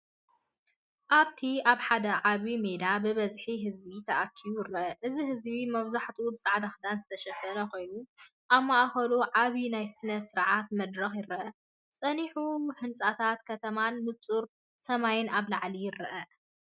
ኣብቲ ኣብ ሓደ ዓቢ ሜዳ ብብዝሒ ህዝቢ ተኣኪቡ ይርአ። እቲ ህዝቢ መብዛሕትኡ ብጻዕዳ ክዳን ዝተሸፈነ ኮይኑ፡ ኣብ ማእከሉ ዓቢ ናይ ስነ-ስርዓት መድረኽ ይርአ። ጸኒሑ ህንጻታት ከተማን ንጹር ሰማይን ኣብ ላዕሊ ይርአ።